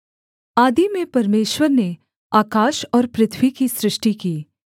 आदि में परमेश्वर ने आकाश और पृथ्वी की सृष्टि की